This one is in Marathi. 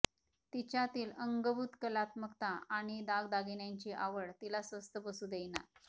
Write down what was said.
तिच्यातील अंगभूत कलात्मकता आणि दागदागिन्यांची आवड तिला स्वस्थ बसू देईना